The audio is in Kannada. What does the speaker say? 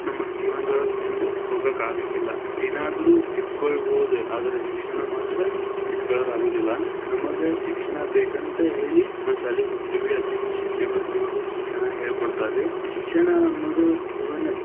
ನಮಗ ಜೀವನದೊಳಗ ಮುಂದ ಹೋಗಾಕ ಆಗಂಗಿಲ್ಲ, ಏನಾದ್ರೂ ಕಿತ್ಕೊಳ್ಳಬಹುದು, ಆದರೆ ಶಿಕ್ಷಣ ಮಾತ್ರ ಕಿತ್ಕೊಳಕ್ ಆಗೋದಿಲ್ಲ, ನಮಗ ಶಿಕ್ಷಣ ಬೇಕಂತ ಹೇಳಿ ನಾವು ಶಾಲೆಗೆ ಹೋಗ್ತಿವಿ ಅಲ್ಲಿನೂ ಶಿಕ್ಷಕರ ನಮಗ ಶಿಕ್ಷಣ ಹೇಳ್ಕೊಡ್ತಾರಿ೯, ಶಿಕ್ಷಣ ಅನ್ನೋದು ಜೀವನ.